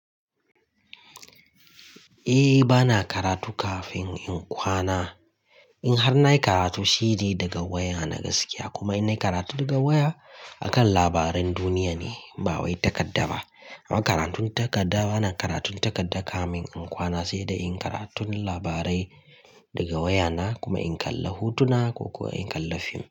Eh bana karatu kafin in kwana. In har nayi karatu sai de daga waya na gaskiya kuma in nayi karatu daga waya akan labaran duniya ne ba wai takarda ba. Amma karatun takarda bana karatun takarda kafin in kwana sai dai in karatun labarai daga waya na kuma in kalla hotuna ko kuwa in kalla fim.